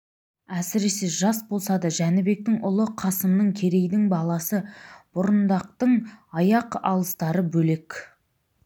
әсіресе жас болса да жәнібектің ұлы қасымның керейдің баласы бұрындықтың аяқ алыстары бөлек